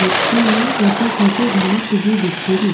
मिटटी में छोटी छोटी घांस उगी दिखेरी।